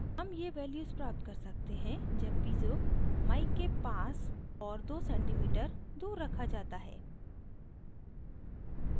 2cm ये values प्राप्त कर सकते हैं जब piezo mic के पास और 2cm दूर रखा जाता है